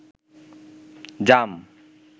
জাম